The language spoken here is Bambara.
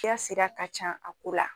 Kɛ sira ka can a ko la.